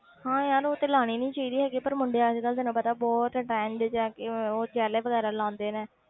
ਹਾਂ ਯਾਰ ਉਹ ਤੇ ਲਾਉਣੀ ਨੀ ਚਾਹੀਦੀ ਹੈਗੀ ਪਰ ਮੁੰਡੇ ਅੱਜ ਕੱਲ੍ਹ ਤੈਨੂੰ ਪਤਾ ਬਹੁਤ trend 'ਚ ਆ ਕਿ ਉਹ gel ਵਗ਼ੈਰਾ ਲਗਾਉਂਦੇ ਨੇ।